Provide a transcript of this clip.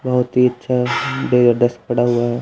बहुत ही अच्छा ये डेस्क पड़ा हुआ है।